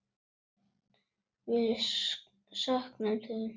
Við söknum þín.